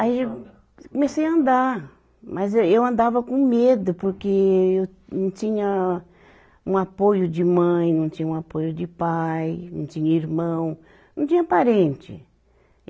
Aí comecei a andar, mas aí eu andava com medo porque eu não tinha um apoio de mãe, não tinha um apoio de pai, não tinha irmão, não tinha parente.